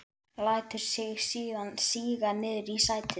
Lætur sig síðan síga niður í sætið.